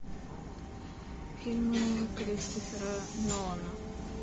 фильмы кристофера нолана